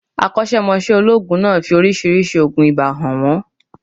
Akọ́sẹ́mọsẹ́ olóòògùn náà fi oriísirísi ògùn ibà